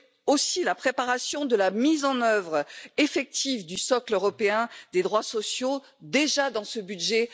Ensuite, la préparation de la mise en œuvre effective du socle européen des droits sociaux dès le budget